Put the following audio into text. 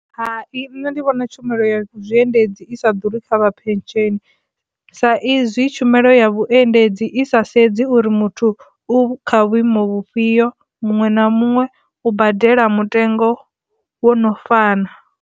Hai, nṋe ndi vhona tshumelo ya zwiendedzi i sa ḓuri kha vha phesheni sa izwi tshumelo ya vhuendedzi i sa sedzi uri muthu u kha vhuimo vhufhio muṅwe na muṅwe u badela mutengo wo no fana.